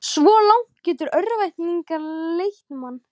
Svo langt getur örvæntingin leitt mann.